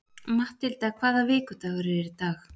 Mathilda, hvaða vikudagur er í dag?